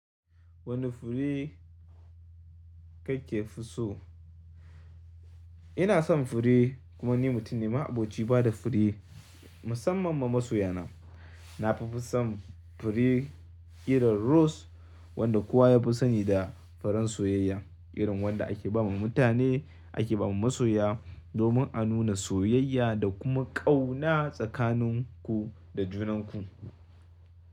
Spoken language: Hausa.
Wane fure kake fi so? Ina son fure kuma ni mutum ne ma'aboci bada fure musamman ma masoya na. Na fi fi son fure irin rose wanda kowa ya fi sani da farin soyayya, irin wanda ake ba ma mutane ake ba ma masoya domin a nuna soyayya da kuma ƙauna tsakanin ku da junanku.